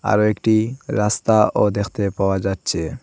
আরও একটি রাস্তাও দেখতে পাওয়া যাচ্ছে।